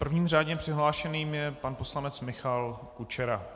Prvním řádně přihlášeným je pan poslanec Michal Kučera.